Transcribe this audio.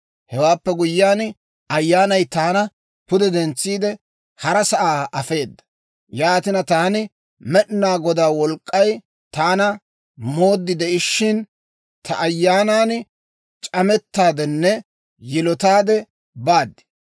Hewaappe guyyiyaan, Ayyaanay taana pude dentsiide, hara sa'aa afeeda. Yaatina, taani Med'inaa Godaa Wolk'k'ay taana mooddi de'ishshin, ta ayyaanan c'amettaaddenne yilotaadde baad.